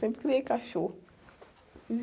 Sempre criei cachorro.